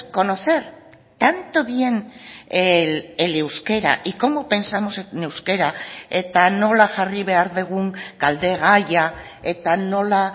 conocer tanto bien el euskera y cómo pensamos en euskera eta nola jarri behar dugun galdegaia eta nola